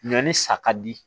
Ɲɔn ni sa ka di